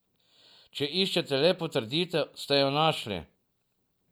Če iščete le potrditev, ste jo našli.